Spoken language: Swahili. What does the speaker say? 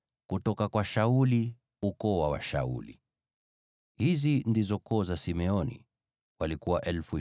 kutoka kwa Zera, ukoo wa Wazera; kutoka kwa Shauli, ukoo wa Washauli.